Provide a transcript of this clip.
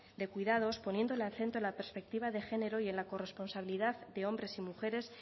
de cuidados poniendo el acento en la perspectiva de género y en la corresponsabilidad de hombres y mujeres